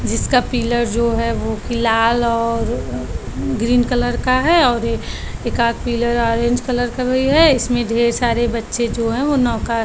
जिसका पिलर जो है वो कि लाल और ग्रीन कलर का है और ऐ एक आद पिलर ऑरेंज कलर का भी है इसमें ढेर सारे बच्चे जो है वो नोका --